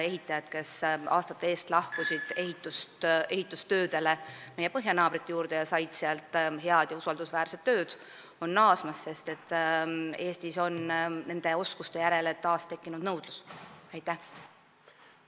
Ehitajad, kes aastate eest lahkusid ehitustöödele meie põhjanaabrite juurde ja said sealt head ja usaldusväärset tööd, on naasmas, sest Eestis on nende oskuste järele taas nõudlus tekkinud.